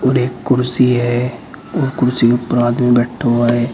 और एक कुर्सी है और कुर्सी के ऊपर आदमी बैठा हुआ है।